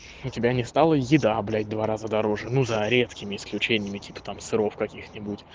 у тебя не стала еда блять в два раза дороже но за редкими исключениями типа там сыров каких-нибудь